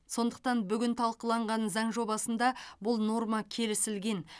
сондықтан бүгін талқыланған заң жобасында бұл норма келісілген